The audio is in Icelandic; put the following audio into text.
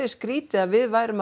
skrítið að við værum